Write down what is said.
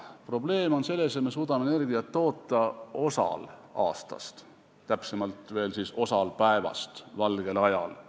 Probleem on selles, et me suudame energiat toota teatud osal aastast, täpsemalt veel, teatud osal päevast, valge ajal.